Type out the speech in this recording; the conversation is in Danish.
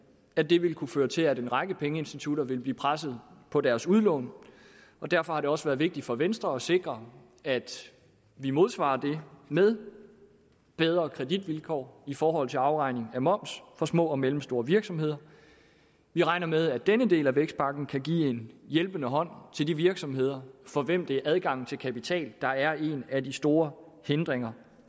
at det vil kunne føre til at en række pengeinstitutter vil blive presset på deres udlån derfor har det også været vigtigt for venstre at sikre at vi modsvarer det med bedre kreditvilkår i forhold til afregning af moms for små og mellemstore virksomheder vi regner med at denne del af vækstpakken kan give en hjælpende hånd til de virksomheder for hvem det er adgangen til kapital der er en af de store hindringer